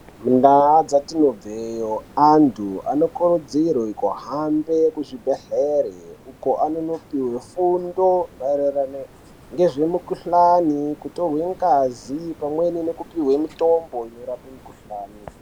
Mundaa dzatinobveyo antu anokurudzirwe kuhambe kuzvibhedhlere, uko anonopihwe fundo maererano ngezvemukhuhlani, kutorwe ngazi , pamweni nekupihwe mitombo inorape mikhuhlani.